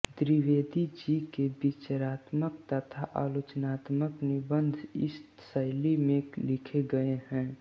द्विवेदी जी के विचारात्मक तथा आलोचनात्मक निबंध इस शैली में लिखे गए हैं